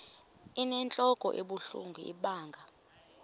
inentlok ebuhlungu ibanga